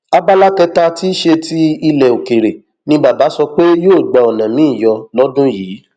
abala kẹta tí í ṣe ti ilẹ òkèèrè ni bàbá sọ pé yóò gba ọnà miín yọ lọdún yìí